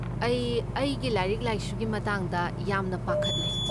ꯑꯩ ꯑꯩꯒꯤ ꯂꯥꯏꯔꯤꯛ ꯂꯥꯏꯁꯨꯒꯤ ꯃꯇꯥꯡꯗ ꯌꯥꯝꯅ ꯄꯥꯈꯠꯂꯦ꯫